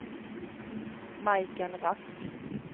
Majken Rask